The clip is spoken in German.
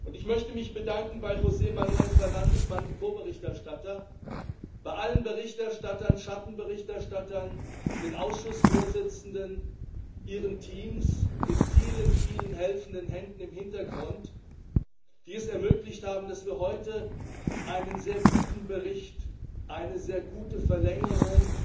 Ich möchte mich bei José Manuel Fernandes, meinem Ko Berichterstatter und bei allen Berichterstattern, Schattenberichterstattern, den Ausschussvorsitzenden, ihren Teams, den vielen, vielen helfenden Händen im Hintergrund bedanken, die es ermöglicht haben, dass wir heute einen sehr guten Bericht, eine sehr gute Verlängerung